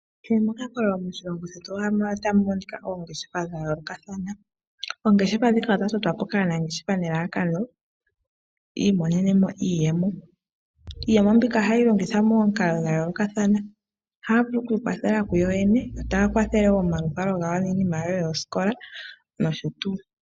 Kehe mokakololo moshilongo shetu otamu monika oongeshefa dhayoolokathana . Oongeshefa ndhika odha totwapo kaanangeshefa nelalakano yiimonenemo iiyemo. Iiyemo mbika ohayi longithwa momikalo dhayoolokathana . Ohaya vulu okwiikwathela kuyo yene . Yo taya wo omaluvalo gawo niinima yawo yoosikola nosho tuu.